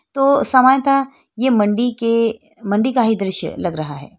तो समानतः ये मंडी के मंडी का ही दृश्य लग रहा है।